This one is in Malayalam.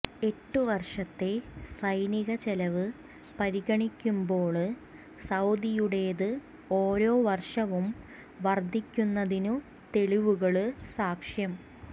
എട്ടു വര്ഷത്തെ സൈനിക ചെലവ് പരിഗണിക്കുമ്പോള് സൌദിയുടേത് ഓരോ വര്ഷവും വര്ധിക്കുന്നതിനു തെളിവുകള് സാക്ഷ്യം